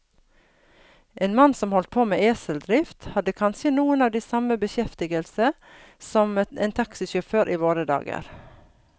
En mann som holdt på med eseldrift, hadde kanskje noe av den samme beskjeftigelse som en taxisjåfør i våre dager.